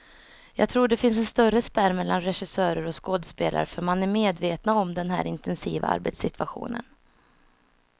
Jag tror det finns en större spärr mellan regissörer och skådespelare, för man är medvetna om den här intensiva arbetssituationen.